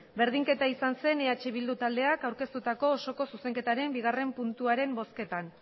berdinketa izan zen eh bildu taldeak aurkeztutako osoko zuzenketaren bigarrena puntuaren bozketan